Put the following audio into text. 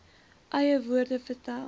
eie woorde vertel